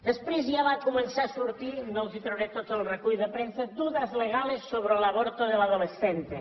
després ja va començar a sortir no els trauré tot el recull de premsa dudas legales sobre el aborto del adolescente